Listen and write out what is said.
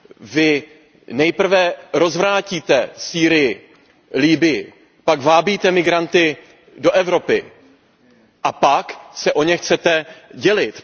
Vy nejprve rozvrátíte Sýrii, Libyi, pak vábíte migranty do Evropy a pak se o ně chcete dělit.